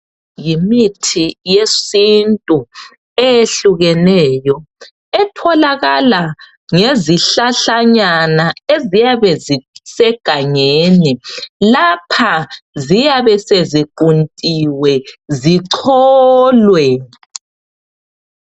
Yimithi yesintu eyehlukeneyo, etholakala ngezihlahlanyana eziyabe zisegangeni, lapha ziyabe seziquntiwe, zicholwe.